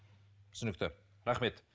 түсінікті рахмет